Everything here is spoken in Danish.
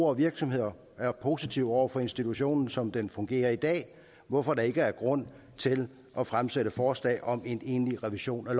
og virksomheder er positive over for institutionen som den fungerer i dag hvorfor der ikke er grund til at fremsætte forslag om en egentlig revision af